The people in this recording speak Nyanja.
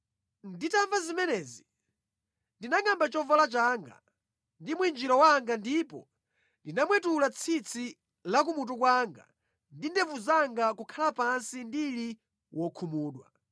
Nditamva zimenezi, ndinangʼamba chovala changa ndi mwinjiro wanga ndipo ndinamwetula tsitsi la kumutu kwanga ndi ndevu zanga nʼkukhala pansi ndili wokhumudwa.